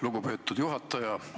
Lugupeetud juhataja!